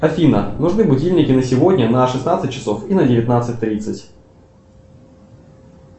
афина нужны будильники на сегодня на шестнадцать часов и на девятнадцать тридцать